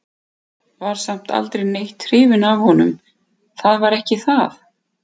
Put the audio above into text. Var samt aldrei neitt hrifin af honum, það var ekki það.